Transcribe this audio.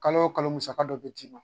Kalo o kalo musaka dɔ be c"i ma.